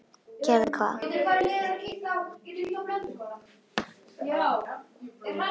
Gerði hvað?